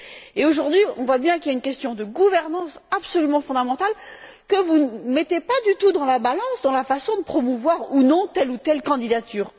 Et aujourd'hui, on voit bien qu'il y a une question de gouvernance absolument fondamentale que vous ne mettez pas du tout dans la balance, dans la façon de promouvoir ou non telle ou telle candidature.